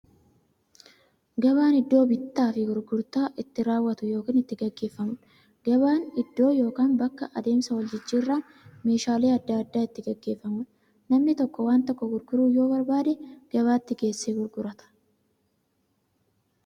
Gabaan iddoo bittaaf gurgurtaan itti raawwatu yookiin itti gaggeeffamuudha. Gabaan iddoo yookiin bakka adeemsa waljijjiiraan meeshaalee adda addaa itti gaggeeffamuudha. Namni tokko waan tokko gurguruu yoo barbaade, gabaatti geessee gurgurata.